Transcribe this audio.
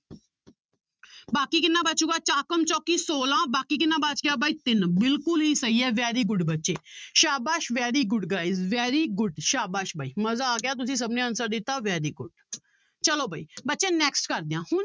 ਬਾਕੀ ਕਿੰਨਾ ਬਚੇਗਾ ਚੋਕਮ ਚੋਕੀ ਛੋਲਾਂ ਬਾਕੀ ਕਿੰਨਾ ਬਚ ਗਿਆ ਬਾਈ ਤਿੰਨ ਬਿਲਕੁਲ ਹੀ ਸਹੀ ਹੈ very good ਬੱਚੇ ਸਾਬਾਸ਼ very good guys very good ਸਾਬਾਸ਼ ਬਾਈ ਮਜ਼ਾ ਆ ਗਿਆ ਤੁਸੀਂ ਸਭ ਨੇ answer ਦਿੱਤਾ very good ਚਲੋ ਵੀ ਬੱਚੇ next ਕਰਦੇ ਹਾਂ ਹੁਣ